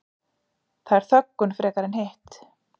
Það er þöggun frekar en hitt